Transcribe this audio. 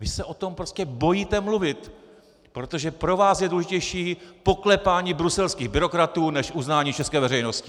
Vy se o tom prostě bojíte mluvit, protože pro vás je důležitější poklepání bruselských byrokratů než uznání české veřejnosti!